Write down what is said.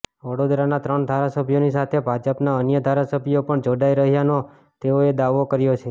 વડોદરાના ત્રણ ધારાસભ્યોની સાથે ભાજપના અન્ય ધારાસભ્યો પણ જોડાઈ રહ્યાનો તેઓએ દાવો કર્યો છે